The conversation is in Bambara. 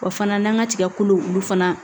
Wa fana n'an ka tigakolo olu fana